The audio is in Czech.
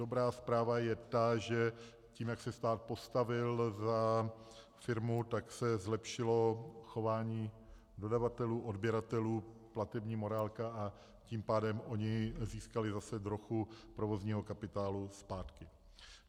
Dobrá zpráva je ta, že tím, jak se stát postavil za firmu, tak se zlepšilo chování dodavatelů, odběratelů, platební morálka, a tím pádem oni získali zase trochu provozního kapitálu zpátky.